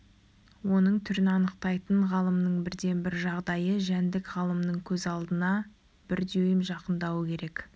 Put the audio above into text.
оның түрін анықтайтын ғалымның бірден-бір жағдайы жәндік ғалымның көз алдына бір дюйм жақындауы керек